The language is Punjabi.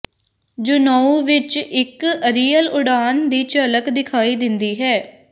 ਜੂਨਓ ਵਿਚ ਇਕ ਅਰੀਅਲ ਉਡਾਣ ਦੀ ਝਲਕ ਦਿਖਾਈ ਦਿੰਦੀ ਹੈ